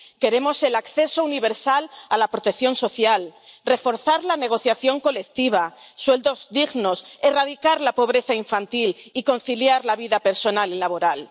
Queremos el acceso universal a la protección social, reforzar la negociación colectiva, sueldos dignos, erradicar la pobreza infantil y conciliar la vida personal y laboral.